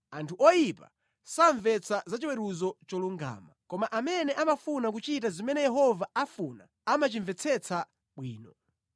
Anthu oyipa samvetsa za chiweruzo cholungama, koma amene amafuna kuchita zimene Yehova afuna amachimvetsetsa bwino.